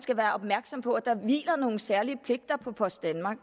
skal være opmærksom på at der hviler nogle særlige pligter på post danmark